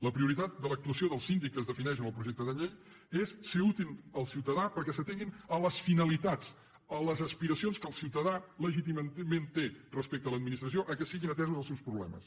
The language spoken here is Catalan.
la prioritat de l’actuació del síndic que es defineix en el projecte de llei és ser útil al ciutadà perquè s’atenguin les finalitats les aspiracions que el ciutadà legítimament té respecte a l’administració que siguin atesos els seus problemes